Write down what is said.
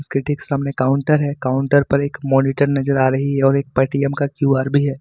उसके ठीक सामने काउंटर है काउंटर पर एक मॉनिटर नज़र आ रही है और एक पेटीएम का क्यू_आर भी है।